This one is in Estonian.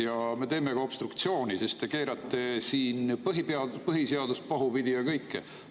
Ja me teeme ka obstruktsiooni, sest te keerate siin põhiseadust pahupidi ja kõike muud.